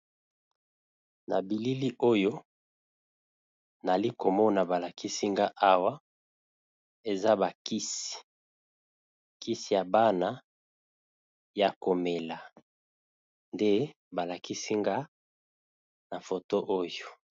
Na bilili oyo nali komona balakisinga awa, eza bakisi kisi ya bana ya komela nde balakisinga na foto oyo.